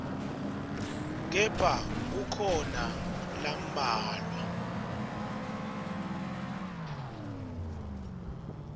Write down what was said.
kepha kukhona lambalwa